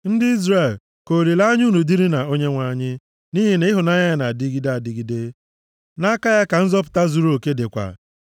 Ndị Izrel, ka olileanya unu dịrị na Onyenwe anyị, nʼihi na ịhụnanya ya na-adịgide adịgide, nʼaka ya ka nzọpụta zuruoke dịkwa.